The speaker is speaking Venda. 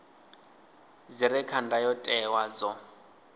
dzi re kha ndayotewa dzo